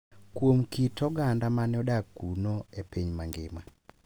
kuom kit oganda ma ne odak kuno e piny mangima.